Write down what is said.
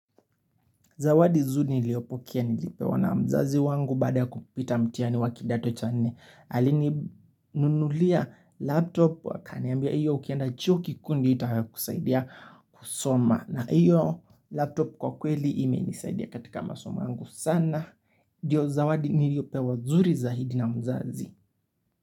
Zawadi zuri niliyopokea nilipewa na mzazi wangu baada ya kupita mtihani wa kidato cha nne. Alininunulia laptop wakaniambia hiyo ukienda chuo kikuu ndyo itakusaidia kusoma. Na iyo laptop kwa kweli imenisaidia katika masomo yangu sana. Ndio zawadi niliyopewa zuri zaidi na mzazi.